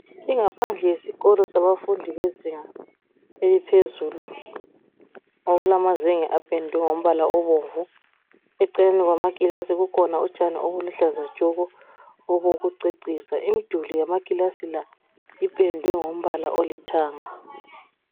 Ingaphandle yesikolo sabafundi bezinga eliphezulu okulamazenge apendwe ngombala obomvu eceleni kwamakilasi la kukhona utshani obuluhlaza tshoko obokucecisa imiduli yamakilasi la ipendwe ngombala olithanga.